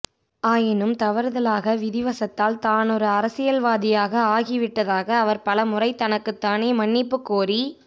ஆயினும் தவறுதலாக விதி வசத்தால் தானொரு அரசியல்வாதியாக ஆகி விட்டதாக அவர் பலமுறை தனக்குத்தானே மன்னிப்புக் கோரி